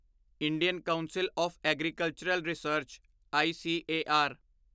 Indian council of agricultural research ICAR